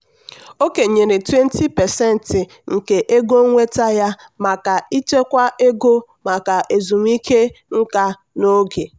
o kenyere 20% nke ego nnweta ya maka ịchekwa ego maka ezumike nká n'oge.